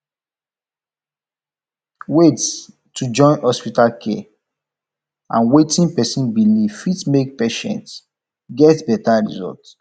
wait to join hospital care and wetin person believe fit make patient get better result